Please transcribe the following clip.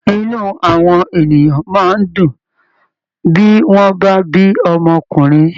Inú àwọn ènìyàn máa ń dùn bí wọ́n bá bí ọmọkùnrin